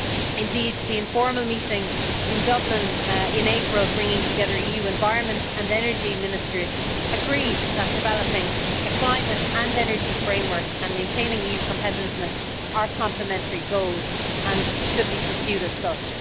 Indeed, the informal meeting in Dublin in April, bringing together EU Environment and Energy Ministers, agreed that developing a climate and energy framework, and maintaining EU competitiveness, are complimentary goals and should be pursued as such.